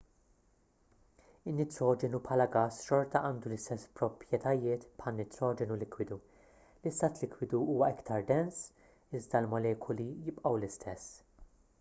in-nitroġenu bħala gass xorta għandu l-istess proprjetajiet bħan-nitroġenu likwidu l-istat likwidu huwa iktar dens iżda l-molekuli jibqgħu l-istess